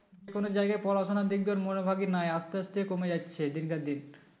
কোন জায়গায় পড়াশোনা দেখবার মনোভাবই নাই আস্তে আস্তে কমে যাচ্ছে দিনকে দিন